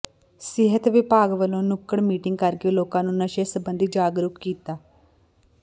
ਸਿਹਤ ਵਿਭਾਗ ਵਲੋਂ ਨੁੱਕੜ ਮੀਟਿੰਗ ਕਰਕੇ ਲੋਕਾਂ ਨੂੰ ਨਸ਼ੇ ਸਬੰਧੀ ਜਾਗਰੂਕ ਕੀਤਾ